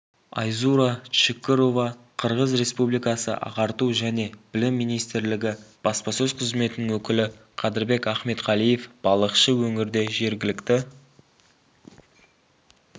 айзура чыкырова қырғыз республикасы ағарту және білім министрлігі баспасөз қызметінің өкілі қадырбек ахметқалиев балықшы өңірде жергілікті